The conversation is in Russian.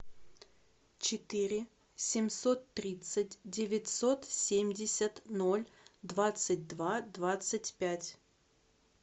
четыре семьсот тридцать девятьсот семьдесят ноль двадцать два двадцать пять